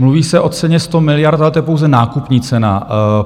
Mluví se o ceně 100 miliard, ale to je pouze nákupní cena.